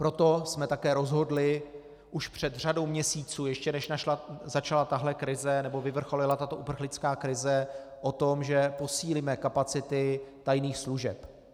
Proto jsme také rozhodli už před řadou měsíců, ještě než začala tahle krize nebo vyvrcholila tato uprchlická krize, o tom, že posílíme kapacity tajných služeb.